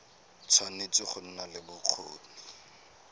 tshwanetse go nna le bokgoni